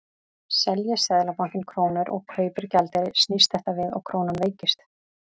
Selji Seðlabankinn krónur og kaupir gjaldeyri snýst þetta við og krónan veikist.